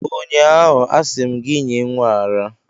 ụnyaahụ, asị m gị nye nwa a ara!